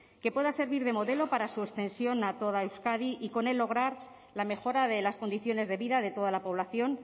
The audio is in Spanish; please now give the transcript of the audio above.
que pueda servir de modelo para su extensión a toda euskadi y con él lograr la mejora de las condiciones de vida de toda la población